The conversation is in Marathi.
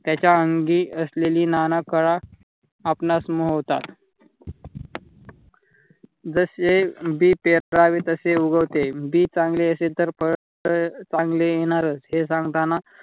त्याच्या अंगी असलेली ना ना कला आपणास मोहतात. जसे बी पेरावे ताशे उगवते. बी चांगले असेल तर फळ तर चांगले येणारच हे सांगताना